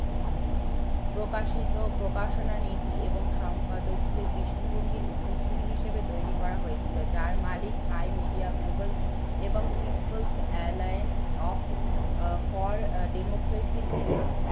প্রকাশিত প্রকাশনা নীতি এবং সম্পাদকীয় দৃষ্টিভঙ্গির উত্তরসূরী হিসেবে তৈরি করা হয়েছিল যার মালিক hi media এবং peoples alliance of আহ for আহ democracy র নেতা।